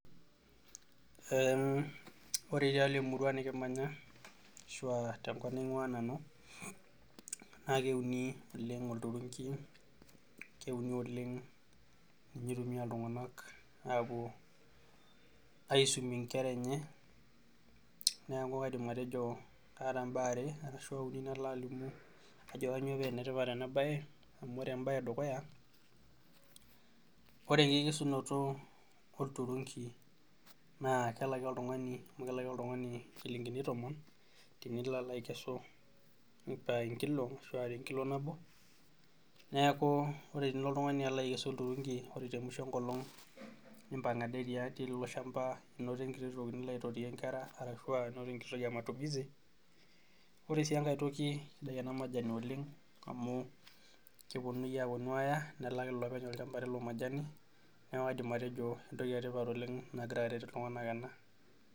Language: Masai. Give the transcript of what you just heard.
Ore tialo emurua nikimanya ashu tenkop niangua naa keuni oleng olturunki, keuni, ninye eitumiyia iltunganak apuo aisumie nkera enye ,neeku kaidim atejo kaata mbaa are ashua uni nidim ashomo atolimu ,ajo kainyoo paa enetipat ena bae amu ore embae edukuya ,naa ore enkesunoto olturunki naa kelaki oltungani chilinkini tomontenilo alo aikesu enkilo neeku inkesu oltungani olturunki ore temusho ilo aipang into enkiti toki nilo aitotiyie nkera ashua into enkiti toki ematumisi ore sii enkae toki sidai ena majani oleng amu keponunui aya nelaaki lopeny oilchampa lilo majani neeku akidim atejo entoki etipat ena.